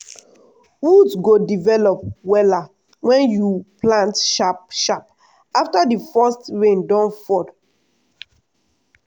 root go develop wella wen you plant sharp sharp afta di first rain don fall.